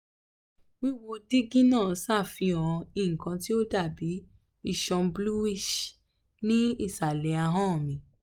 wíwo dígí náà ṣàfihàn nnkan tí ó dàbí iṣan bluish ní ìsàlẹ̀ ahọ́n mi